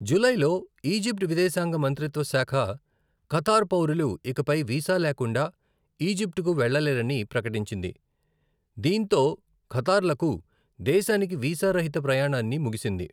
జూలైలో, ఈజిప్ట్ విదేశాంగ మంత్రిత్వ శాఖ ఖతార్ పౌరులు ఇకపై వీసా లేకుండా ఈజిప్ట్కు వెళ్లలేరని ప్రకటించింది, దీంతో ఖతార్లకు దేశానికి వీసా రహిత ప్రయాణాన్ని ముగిసింది.